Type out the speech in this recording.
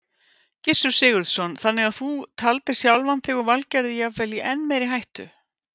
Gissur Sigurðsson: Þannig að þú taldir sjálfan þig og Valgerði jafnvel í enn meiri hættu?